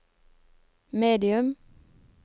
medium